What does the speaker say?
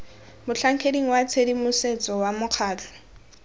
motlhankeding wa tshedimosetso wa mokgatlho